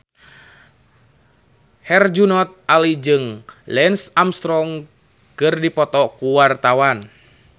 Herjunot Ali jeung Lance Armstrong keur dipoto ku wartawan